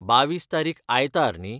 बावीस तारीख आयतार . न्ही?